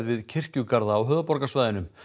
við kirkjugarða á höfuðborgarsvæðinu